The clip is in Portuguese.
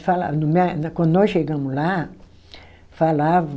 Fala no, quando nós chegamos lá, falavam